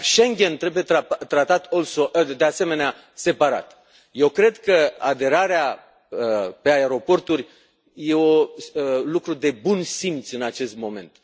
Dar Schengen trebuie tratat, de asemenea, separat. Eu cred că aderarea pe aeroporturi e un lucru de bun simț în acest moment.